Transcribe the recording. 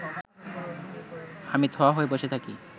আমি থ হয়ে বসে থাকি